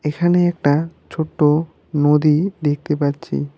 এখানে একটা ছোট্ট নদী দেখতে পাচ্ছি।